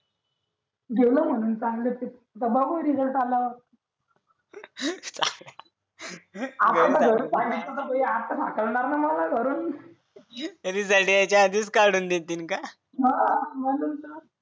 गेलो म्हणून चांगलं दबाव निकाल आला आता जरा घरी सांगितलं तर हा करणार नाही मला करून जरी निकाल यायच्या आधीच काढून देतील का हा म्हणून तर